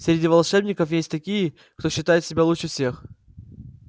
среди волшебников есть такие кто считает себя лучше всех